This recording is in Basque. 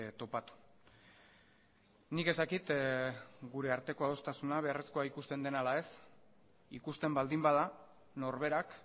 topatu nik ez dakit gure arteko adostasuna beharrezkoa ikusten den ala ez ikusten baldin bada norberak